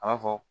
A b'a fɔ